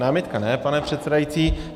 Námitka ne, pane předsedající.